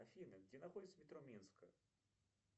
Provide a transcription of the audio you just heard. афина где находится метро минская